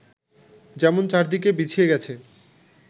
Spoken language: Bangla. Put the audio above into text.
যেমন চারদিকে বিছিয়ে গেছে